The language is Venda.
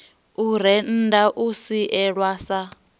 u rennda u sielwa sa